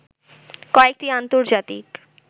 কয়েকটি আন্তজার্তিক